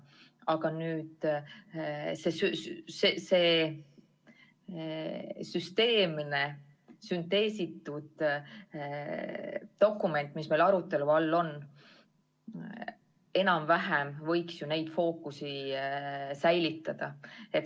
Aga see süsteemne ja sünteesitud dokument, mis meil praegu arutelu all on, võiks neid fookusi ju enam-vähem säilitada.